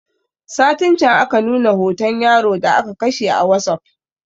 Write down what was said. Satin can aka nuna hoton yaro da aka kashe a wasup